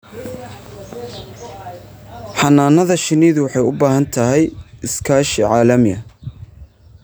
Xannaanada shinnidu waxay u baahan tahay iskaashi caalami ah.